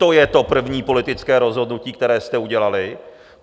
To je to první politické rozhodnutí, které jste udělali.